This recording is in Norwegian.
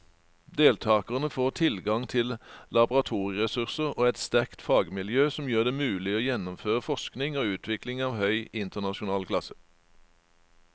Deltakerne får tilgang til laboratorieressurser og et sterkt fagmiljø som gjør det mulig å gjennomføre forskning og utvikling av høy internasjonal klasse.